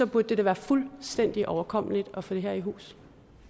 burde det da være fuldstændig overkommeligt at få det her i hus